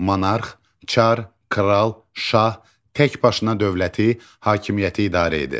Monarx, çar, kral, şah təkbaşına dövləti, hakimiyyəti idarə edir.